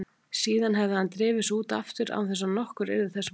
Síðan hefði hann drifið sig út aftur án þess að nokkur yrði þessa var.